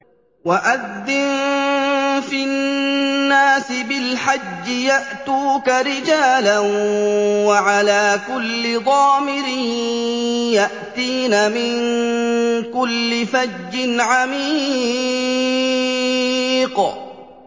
وَأَذِّن فِي النَّاسِ بِالْحَجِّ يَأْتُوكَ رِجَالًا وَعَلَىٰ كُلِّ ضَامِرٍ يَأْتِينَ مِن كُلِّ فَجٍّ عَمِيقٍ